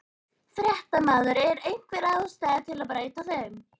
Fréttamaður: Er einhver ástæða til að breyta þeim?